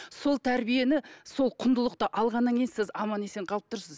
сол тәрбиені сол құндылықты алғаннан кейін сіз аман есен қалып тұрсыз